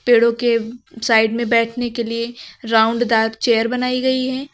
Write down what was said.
पेड़ों के साइड में बैठने के लिए राउंड दार चेयर बनायी गयी हैं।